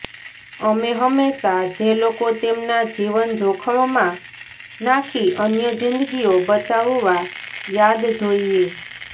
અમે હંમેશા જે લોકો તેમના જીવન જોખમમાં નાખી અન્ય જીંદગીઓ બચાવવા યાદ જોઈએ